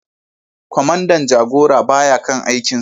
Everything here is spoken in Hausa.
Kwamandan jagora ba ya kan aikinsa